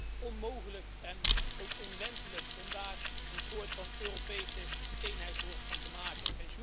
Het is onmogelijk en ook onwenselijk om daar een soort Europese eenheidsworst van te maken.